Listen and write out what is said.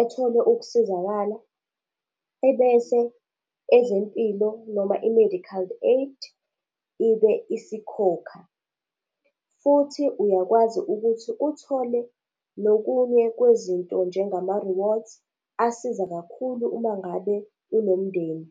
ethole ukusizakala, ebese ezempilo noma, i-medical aid, ibe isikhokha. Futhi uyakwazi ukuthi uthole nokunye kwezinto, njengama-rewards, asiza kakhulu uma ngabe unomndeni.